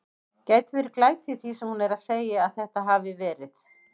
Gæti verið glæta í því sem hún er að segja. að þetta hafi verið.